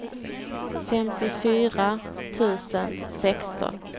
femtiofyra tusen sexton